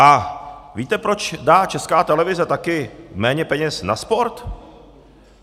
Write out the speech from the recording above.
A víte, proč dá Česká televize taky méně peněz na sport?